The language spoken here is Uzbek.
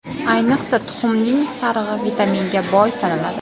Ayniqsa, tuxumning sarig‘i vitaminga boy sanaladi.